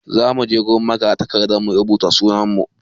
Za mu je wurin magatakarda mu rubuta sunan mu.